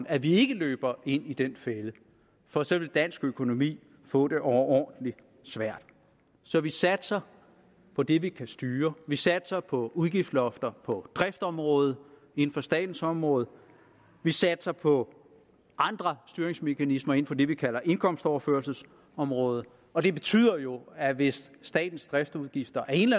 at vi ikke løber ind i den fælde for så ville dansk økonomi få det overordentlig svært så vi satser på det vi kan styre vi satser på udgiftslofter på driftområdet inden for statens område vi satser på andre styringsmekanismer inden for det vi kalder indkomstoverførselsområdet og det betyder jo at hvis statens driftsudgifter af en